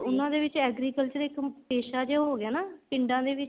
ਉਹਨਾ ਦੇ ਵਿੱਚ ਇੱਕ agricultural ਇੱਕ ਪੈਸ਼ਾ ਜਾ ਹੋ ਗਿਆ ਨਾ ਪਿੰਡਾਂ ਦੇ ਵਿੱਚ